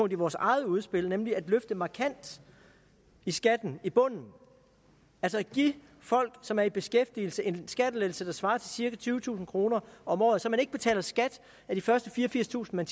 i vores eget udspil nemlig at løfte markant i skatten i bunden altså at give folk som er i beskæftigelse en skattelettelse der svarer til cirka tyvetusind kroner om året så man ikke betaler skat af de første fireogfirstusind